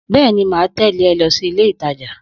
Bẹ́ẹ̀ni, mà á tẹ̀lẹ̀ ẹ lọsí ilé-ìtajà.